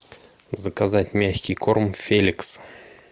заказать мягкий корм феликс